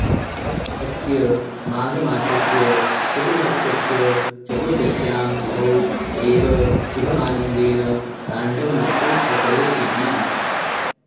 अस्य माघमासस्य शुक्लपक्षस्य चतुर्दश्यां तिथौ एव शिवः आनन्देन ताण्डवनृत्यम् अकरोत् इति